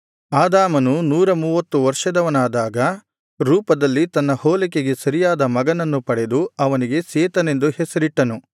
ಆದಾಮನು ನೂರಮೂವತ್ತು ವರ್ಷದವನಾದಾಗ ರೂಪದಲ್ಲಿ ತನ್ನ ಹೋಲಿಕೆಗೆ ಸರಿಯಾದ ಮಗನನ್ನು ಪಡೆದು ಅವನಿಗೆ ಸೇತನೆಂದು ಹೆಸರಿಟ್ಟನು